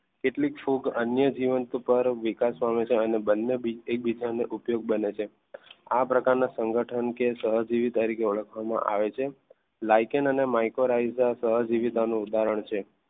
કેટલીક ફૂગ અન્ય જીવન પર વિકાસ પામે છે અને બંને એકબીજાને ઉપયોગ બને છે. આ પ્રકારના સંગઠન કે સહજીવી તરીકે ઓળખવામાં આવે છે જેમ લાઈકેન અને micro રાઈઝ સહજીવિતાનું ઉદાહરણ છે.